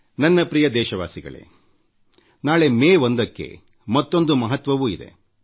ನನ್ನ ಪ್ರೀತಿಯ ದೇಶವಾಸಿಗಳೇ ನಾಳೆ ಮೇ 1ಕ್ಕೆ ಮತ್ತೊಂದು ಮಹತ್ವವೂ ಇದೆ